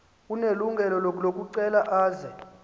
unelungelo lokucela aze